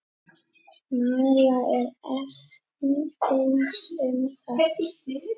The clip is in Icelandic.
María er efins um það.